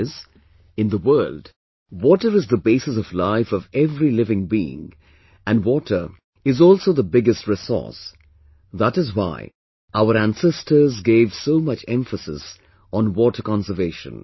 That is, in the world, water is the basis of life of every living being and water is also the biggest resource, that is why our ancestors gave so much emphasis on water conservation